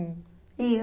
E eu.